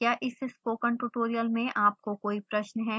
क्या इस spoken tutorial में आपको कोई प्रश्न है